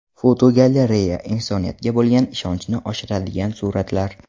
Fotogalereya: Insoniyatga bo‘lgan ishonchni oshiradigan suratlar.